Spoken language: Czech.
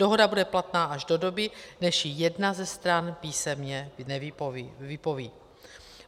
Dohoda bude platná až do doby, než ji jedna ze stran písemně vypoví.